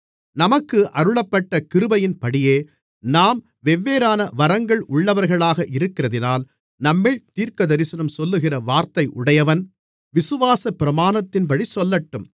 நமக்கு அருளப்பட்ட கிருபையின்படியே நாம் வெவ்வேறான வரங்கள் உள்ளவர்களாக இருக்கிறதினால் நம்மில் தீர்க்கதரிசனம் சொல்லுகிற வரத்தை உடையவன் விசுவாசப்பிரமாணத்தின்படி சொல்லட்டும்